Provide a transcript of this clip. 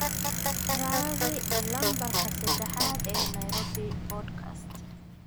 raadi lambarka sadexaad ee nairobi podcast